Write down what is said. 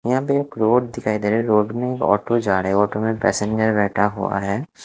यहाँ पे एक रोड़ दिखाई दे रहा है रोड़ में एक ऑटो जा रहा है ऑटो में पैसेंजर बैठे हुआ है।